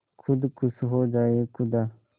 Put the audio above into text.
खुद खुश हो जाए खुदा